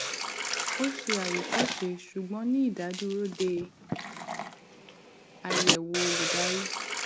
ó ṣe àwòkọṣe ṣùgbọn ní ìdádúró dé ayẹwò olùdarí